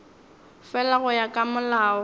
fela go ya ka molao